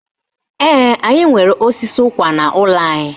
Ee, anyị nwere osisi ụkwa n'ụlọ anyị